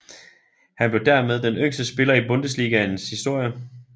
Han blev dermed den yngste spiller i Bundesligaen historie